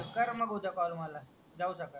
कर मग उद्या कॉल मला जाऊ सकाळी